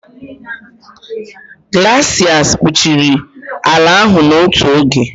glaciers kpuchiri ala ahụ n'otu oge.